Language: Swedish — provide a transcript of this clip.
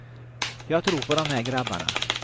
Jag tror på de här grabbarna.